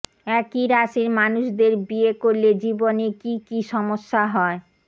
একই রাশির মানুষদের বিয়ে করলে জীবনে কী কী সমস্যা হয়